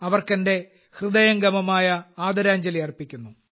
അവർക്ക് എന്റെ ഹൃദയം തൊട്ടുള്ള ആദരാഞ്ജലി അർപ്പിക്കുന്നു